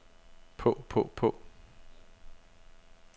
på på på